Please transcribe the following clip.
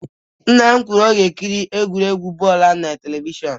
Nna m si na ọ ga-ekiri egwuregwu bọọlụ ahụ na telivishọn